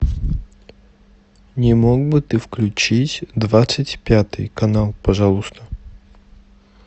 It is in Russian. не мог бы ты включить двадцать пятый канал пожалуйста